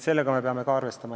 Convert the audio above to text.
Sellega me peame ka arvestama.